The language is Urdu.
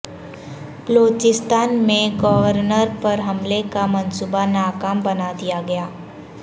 بلوچستان میں گورنر پر حملے کا منصوبہ ناکام بنا دیا گیا